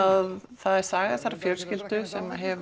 það er saga þessarar fjölskyldu sem hefur